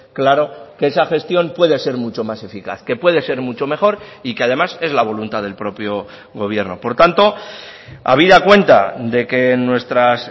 claro que esa gestión puede ser mucho más eficaz que puede ser mucho mejor y que además es la voluntad del propio gobierno por tanto habida cuenta de que nuestras